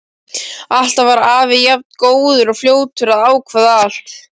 Alltaf var afi jafn góður og fljótur að ákveða allt.